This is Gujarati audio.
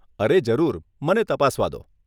અરે, જરૂર, મને તપાસવા દો.